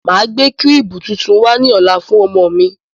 Máa gbé kírìbù tuntun wá ní ọ̀la fún ọmọ mi.